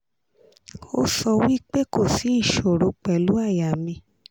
o so wi pe ko si isoro pelu aya mi